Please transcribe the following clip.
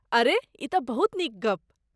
अरे, ई तँ बहुत नीक गप।